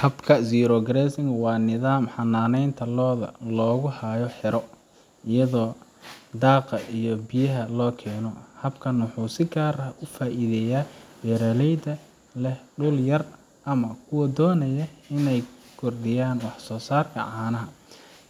Habka zero grazing waa nidaam xanaaneynta lo’da oo lagu hayo xero, iyadoo daaqa iyo biyaha loo keeno. Habkan wuxuu si gaar ah ugu faa'iideeyaa beeraleyda leh dhul yar ama kuwa doonaya inay kordhiyaan wax soosaarka caanaha.